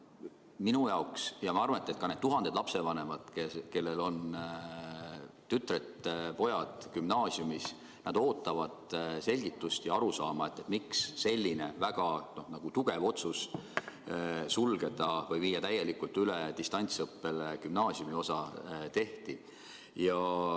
Mina ja ma arvan, et ka need tuhanded lapsevanemad, kellel on tütred-pojad gümnaasiumis, ootame selgitust, miks selline väga kindel otsus viia gümnaasiumiosa täielikult üle distantsõppele ikkagi tehti.